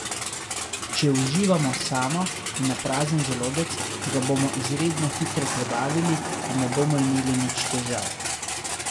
Če uživamo samo in na prazen želodec, ga bomo izredno hitro prebavili in ne bomo imeli nič težav.